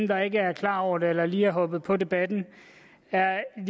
der ikke er klar over det eller som lige er hoppet på debatten er en